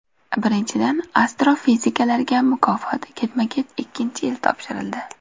Birinchidan, astrofiziklarga mukofot ketma-ket ikkinchi yil topshirildi.